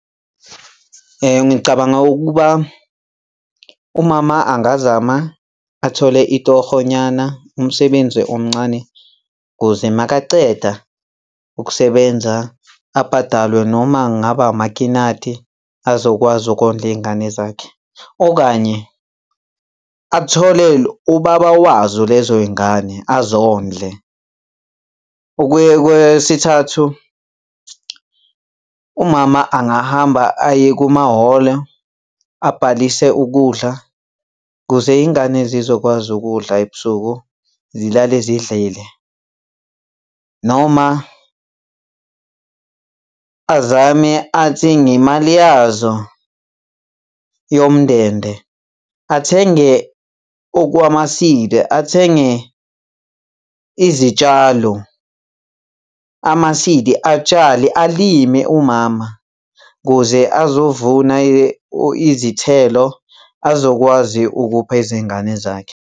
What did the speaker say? Ngicabanga ukuba umama angazama athole itohonyana, umsebenzi omncane ukuze makaceda ukusebenza abhadalwe noma ngabe amakinati azokwazi ukondla iy'ngane zakhe, okanye athole ubaba wazo lezo y'ngane azondle. Ukuye kwesithathu, umama angahamba aye kumahholo abhalise ukudla kuze iy'ngane zizokwazi ukudla ebusuku, zilale zidlile. Noma azame athi ngemali yazo yomndende athenge okwama-seed, athenge izitshalo, ama-seed, atshale alime umama ukuze azovuna izithelo azokwazi ukupha izingane zakhe.